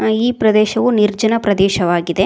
ಅ ಇ ಪ್ರದೇಶವು ನಿರ್ಜನ ಪ್ರದೇಶವಾಗಿದೆ.